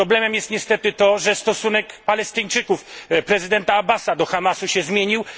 Problemem jest niestety to, że stosunek Palestyńczyków, prezydenta Abbasa do Hamasu się zmienił.